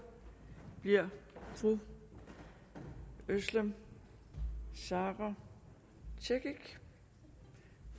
er fru özlem sara cekic